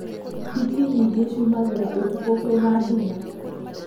Hiti nyingĩ ciumagĩra ũtukũ kwĩna nduma